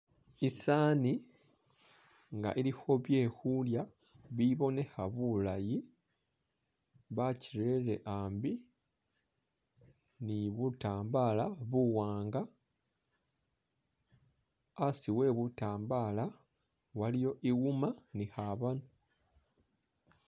I'sani nga ilikho byekhulya bibonekha bulayi bakyirere ambi ni butambala buwanga, asi we butambala waliwo iwuma ni khabono